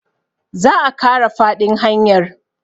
za a Kara faɗin hanyar